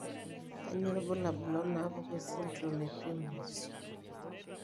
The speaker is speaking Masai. Kainyio irbulabul onaapuku esindirom ePrimrose?